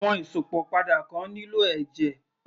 Àwọn Ìsópọ̀ padà kan nílò ẹ̀jẹ̀